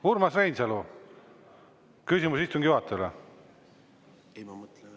Urmas Reinsalu, küsimus istungi juhatajale.